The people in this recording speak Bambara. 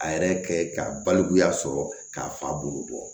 A yɛrɛ kɛ ka balikuya sɔrɔ k'a fa bolo bɔ